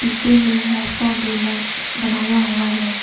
पीछे में रास्ता भी लग बनाया हुआ है।